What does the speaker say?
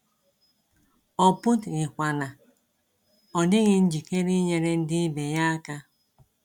Ọ pụtghi kwa na ọ dịghị njikere inyere ndị ibe ya aka.